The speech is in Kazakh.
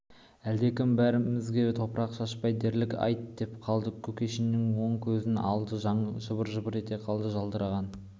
әлдекім бәрімізге топырақ шашпай дәлірек айт деп қалды кушекиннің оң көзінің алды жыбыр-жыбыр ете қалды жылтыраған